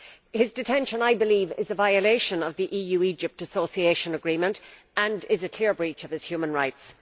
His detention, I believe, is a violation of the EU Egypt Association Agreement and is a clear breach of his human rights.